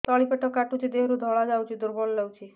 ତଳି ପେଟ କାଟୁଚି ଦେହରୁ ଧଳା ଯାଉଛି ଦୁର୍ବଳ ଲାଗୁଛି